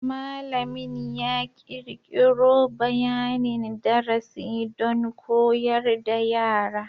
Malamin ya kirkiro bayanin darasi don koyar da yara.